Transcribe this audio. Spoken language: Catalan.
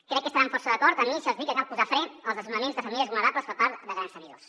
crec que estaran força d’acord amb mi si els dic que cal posar fre als desnonaments de famílies vulnerables per part de grans tenidors